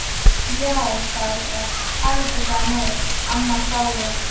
Já, sagði Ásta, Haraldur sagði nei, amma hváði.